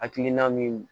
Hakilina min